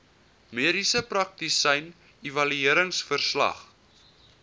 mediese praktisyn evalueringsverslag